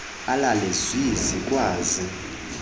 alale zwi zikwazi